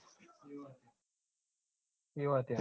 એ વાતય હાચી